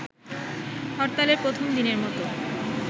হরতালের প্রথম দিনের মতো